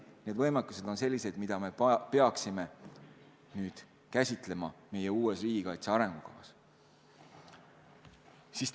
Need võimekused on kindlasti sellised, mida me peaksime meie uues riigikaitse arengukavas käsitlema.